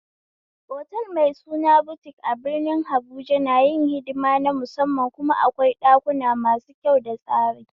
Otal mai suna butik a birnin habuja na yin hidima na musamman kuma akwai ɗukuna masu kyau da tsari